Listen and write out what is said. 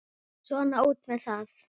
Svona út með það.